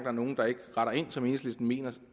er nogle der ikke retter ind som enhedslisten mener de